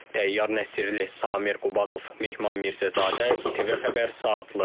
Təyyar Nəsirli, Samir Qubadov, Mehman Mirzəzadə, İTV Xəbər, Saatlı.